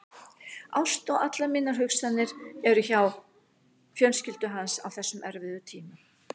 Ást og allar mínar hugsanir er hjá fjölskyldu hans á þessum erfiðu tímum.